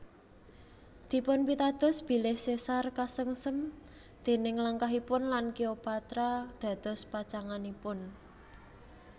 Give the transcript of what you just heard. Dipunpitados bilih Caesar kesengsem déning langkahipun lan Cleopatra dados pacanganipun